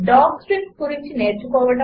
docstrings గురించి నేర్చుకోవడం